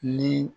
Ni